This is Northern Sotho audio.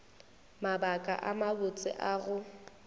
mabaka a mabotse a go